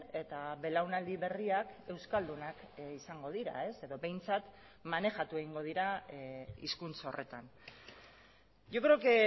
eta belaunaldi berriak euskaldunak izango dira edo behintzat manejatu egingo dira hizkuntza horretan yo creo que